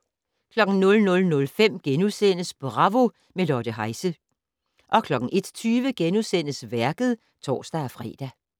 00:05: Bravo - med Lotte Heise * 01:20: Værket *(tor-fre)